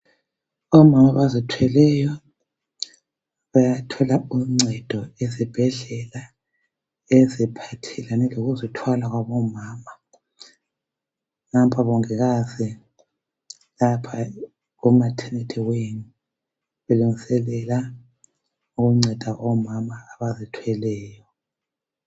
Omama abazithweleyo bayathola uncedo ezibhedlela eziphathelane lokuzithwala kwabomama. Nampa omongikazi lapha kumaternity wing belungiselela ukunceda omama abazithweleyo